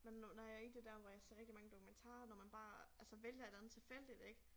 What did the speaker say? Men nu når jeg i det der hvor jeg ser rigtig mange dokumentarer når man bare altså vælger et eller andet tilfældigt ik